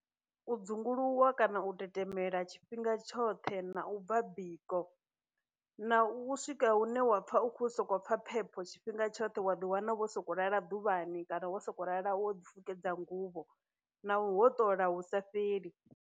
U dzunguluwa kana u tetemela tshifhinga tshoṱhe, na u bva biko, na u swika hune wa pfha u khou sokopfha phepho tshifhinga tshoṱhe wa ḓi wana vho soko lala ḓuvhani kana wo sokou lala wo ḓi fukedza nguvho, na u hoṱola hu sa fheli.